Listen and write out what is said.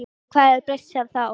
En hvað hefur breyst síðan þá?